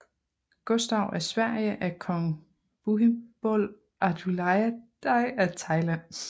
Gustav af Sverige af kong Bhumibol Adulyadej af Thailand